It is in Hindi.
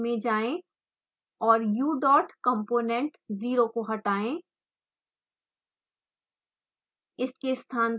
फाइल के तल में जाएँ और ucomponent0 को हटाएँ